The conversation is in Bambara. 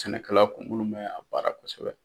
Sɛnɛkɛla kun minnu bɛ a baara kosɛbɛ.